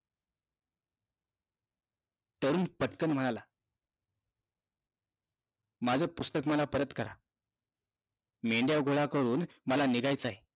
तरुण पटकन म्हणाला, माझं पुस्तक मला परत करा. मेंढ्या गोळा करून मला निघायचंय.